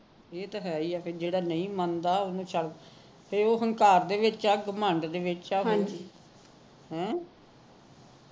ਇਹ ਤਾਂ ਹੈ ਹੀ ਐ ਤੇ ਜਿਹੜਾ ਨਹੀ ਮੰਨਦਾ ਉਹਨੂੰ ਛੱਡਦੋ ਹੁਣ ਉਹ ਘਰ ਦੇ ਵਿੱਚ ਹੈ ਘਮੰਡ ਦੇ ਵਿੱਚ ਹੈ ਹੈਂ